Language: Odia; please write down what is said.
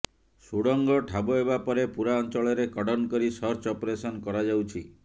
ସୁଡ଼ଙ୍ଗ ଠାବ ହେବା ପରେ ପୂରା ଅଞ୍ଚଳରେ କର୍ଡନ କରି ସର୍ଚ୍ଚ ଅପରେସନ କରାଯାଉଛି